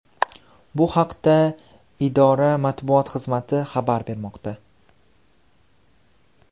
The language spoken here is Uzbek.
Bu haqda idora Matbuot xizmati xabar bermoqda .